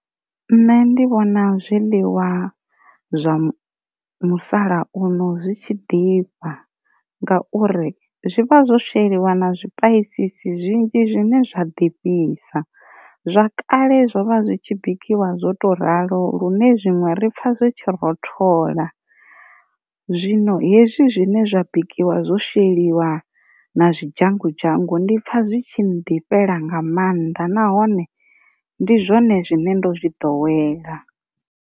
Nṋe ndi vhona zwiḽiwa zwa musalauno zwitshi ḓifha ngauri zwi vha zwo sheliwa na zwipaisisi zwinzhi zwine zwa ḓivhisa, zwa kale zwovha zwitshi bikiwa zwo to ralo lune zwiṅwe ri pfa zwe tshi rothola, zwino hezwi zwine zwa bikiwa zwo sheliwa na zwi dzhango dzhango ndipfa zwi tshi ndifhelo nga maanḓa nahone ndi zwone zwine ndo zwi ḓowela.